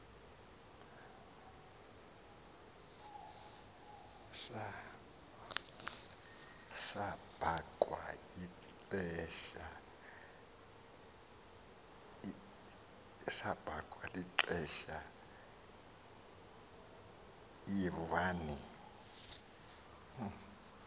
sabhaqua lixesha yivani